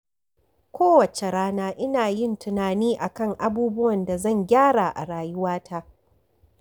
Kowace rana ina yin tunani a kan abubuwan da zan gyara a rayuwata.